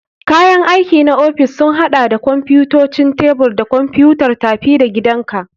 Kayan aiki na ofis sun haɗa da kwamfutocin tebur da kwamfutar tafi-da-gidanka.